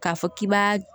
K'a fɔ k'i b'a